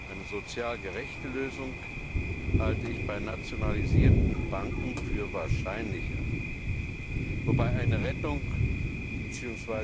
Eine sozial gerechte Lösung halte ich bei nationalisierten Banken für wahrscheinlicher, wobei eine Rettung bzw.